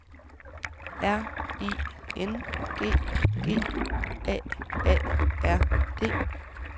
R I N G G A A R D